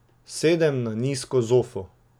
Sedem na nizko zofo.